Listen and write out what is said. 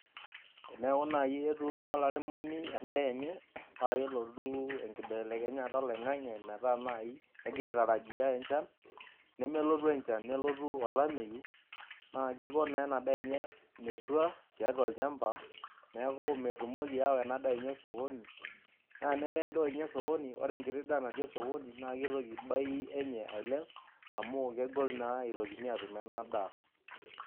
Teneeku naaji etuuno olairemoni edaa enye. paa kelotu, enkibelekenyata oloingang'e metaa naaji egira aitarajia enchan. nelotu enchan nelotu olameyu, naa Kiko naa ena daa enye metua tiatua olchampa. neeku, metumoki aawa ena daa enye osokoni. naa tenemeya edaa enye orsokoni enkiti saa natii osokoni naa kitoki bei enye ailep. amu kegol naa itokini aatum ena daa.